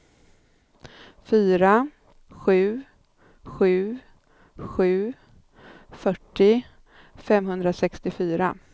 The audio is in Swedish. fyra sju sju sju fyrtio femhundrasextiofyra